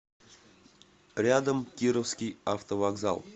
рядом кировский автовокзал